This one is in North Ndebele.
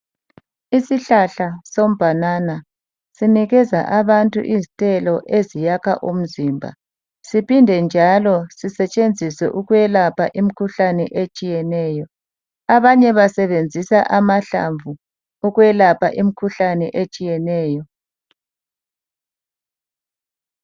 Isihlahla sebhanana sinikeza abantu izithelo eziyakha umzimba siphinde njalo sisetshenziswe ukulapha imikhuhlane etshiyeneyo abanye basebenzisa amahlamvu ukulapha imikhuhlane etshiyeneyo.